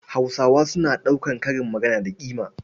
Hausawa suna ɗaukar karin magana da ƙima.